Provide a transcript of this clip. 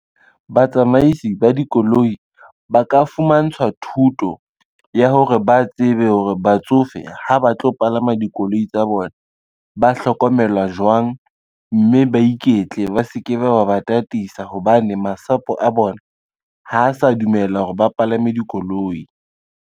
Batsamaisi ba dikoloi ba ka fumantshwa thuto ya hore ba tsebe hore batsofe ha ba tlo palama dikoloi tsa bona, ba hlokomelwa jwang, mme ba iketle ba se ke ba ba tataisa hobane masapo a bona ho sa dumela hore ba palame dikoloi.